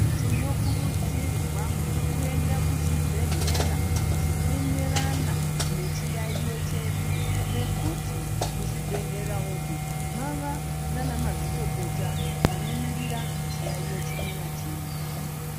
Tinokurudzirwa kuenda kuzvibhedhlera zvinoenderana nechiyaiyo chedu ngekuti muzvibhedhlera umu mava nanamazvikokota vanomirira chiyaiyo chimwe nachimwe.